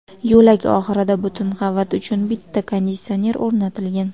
Yo‘lak oxirida butun qavat uchun bitta konditsioner o‘rnatilgan.